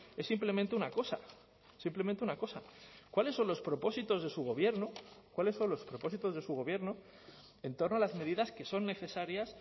es simplemente una cosa simplemente una cosa cuáles son los propósitos de su gobierno cuáles son los propósitos de su gobierno en torno a las medidas que son necesarias